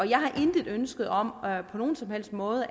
jeg har intet ønske om at der på nogen som helst måde